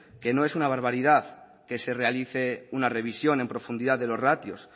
que no es una barbaridad que se realice una revisión en profundidad de los ratios